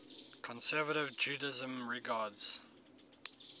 conservative judaism regards